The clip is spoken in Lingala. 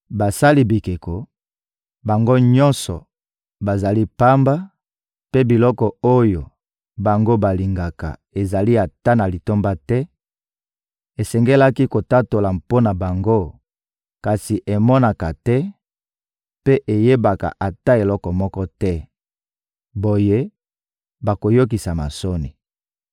Basali bikeko, bango nyonso, bazali pamba, mpe biloko oyo bango balingaka ezali ata na litomba te; esengelaki kotatola mpo na bango, kasi emonaka te mpe eyebaka ata eloko moko te; boye, bayokisama soni.